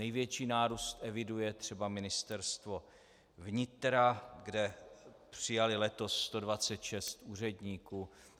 Největší nárůst eviduje třeba Ministerstvo vnitra, kde přijali letos 126 úředníků.